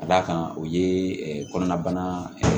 Ka d'a kan o ye kɔnɔna bana